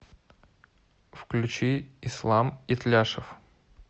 включи ислам итляшев